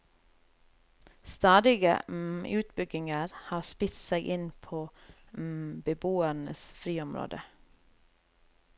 Stadige utbygginger har spist seg inn på beboernes friområde.